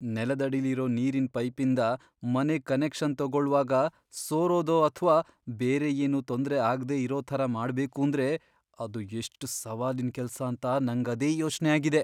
ನೆಲದಡಿಲಿರೋ ನೀರಿನ್ ಪೈಪಿಂದ ಮನೆಗ್ ಕನೆಕ್ಷನ್ ತಗೊಳ್ವಾಗ ಸೋರೋದೋ ಅಥ್ವಾ ಬೇರೆ ಏನೂ ತೊಂದ್ರೆ ಆಗ್ದೇ ಇರೋ ಥರ ಮಾಡ್ಬೇಕೂಂದ್ರೆ ಅದು ಎಷ್ಟ್ ಸವಾಲಿನ್ ಕೆಲ್ಸಾಂತ ನಂಗದೇ ಯೋಚ್ನೆ ಆಗಿದೆ.